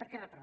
per què reproven